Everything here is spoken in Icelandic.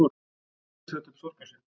Lúlli setti upp sorgarsvip.